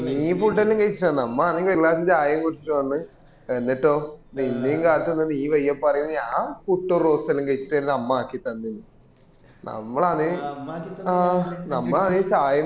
നീ പുട്ടു എല്ലൊം കഴിച്ചിട്ട് വന്നേ നമ്മള് ആകെ ഒരു glass ചായ കുടിച്ചിട്ട് വന്ന് എന്നിട്ടോ നിന്നേം കാത്തുനിന്ന് നീ വയ്യേ പറയുന്നെ ഞാ പുട്ടു roast എല്ലൊം കഴിച്ചിട്ട് വരുന്നേ ''അമ്മ ആക്കി തന്നൂന്ന്